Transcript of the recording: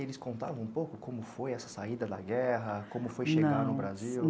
Eles contavam um pouco como foi essa saída da guerra, como foi chegar no Brasil?